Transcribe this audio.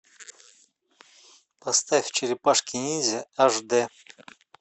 поставь черепашки ниндзя аш дэ